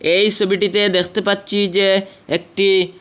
এই ছবিটিতে দেখতে পাচ্ছি যে একটি--